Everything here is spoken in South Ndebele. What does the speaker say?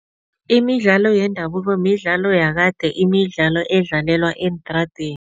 Imidlalo yendabuko midlalo yakade, imidlalo edlalelwa eentradeni.